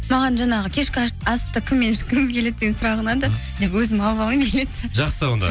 маған жаңағы кешкі асты кіммен ішкіңіз келеді деген сұрақ ұнады деп өзім алып алғым келеді жақсы онда